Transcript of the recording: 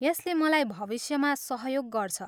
यसले मलाई भविष्यमा सहयोग गर्छ।